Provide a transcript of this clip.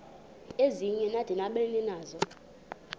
ezinye bada nabaninizo